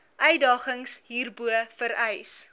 uitdagings hierbo vereis